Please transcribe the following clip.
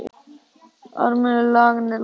Armur laganna er langur